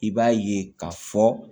I b'a ye ka fɔ